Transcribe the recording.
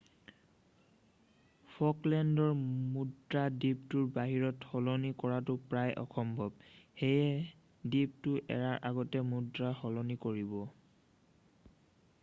ফকলেণ্ডৰ মুদ্ৰা দ্বীপটোৰ বাহিৰত সলনি কৰাটো প্ৰায় অসম্ভৱ সেয়ে দ্বীপটো এৰাৰ আগতেই মুদ্ৰা সলনি কৰিব